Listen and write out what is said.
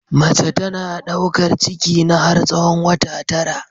Mace tana ɗaukar ciki ne har tsahon wata tara.